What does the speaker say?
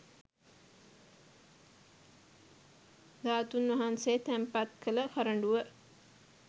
ධාතුන් වහන්සේ තැන්පත් කළ කරඬුව